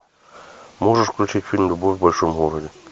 можешь включить фильм любовь в большом городе